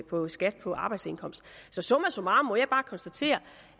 på skatten på arbejdsindkomst så summa summarum må jeg bare konstatere